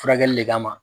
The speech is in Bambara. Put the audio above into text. Furakɛli le kama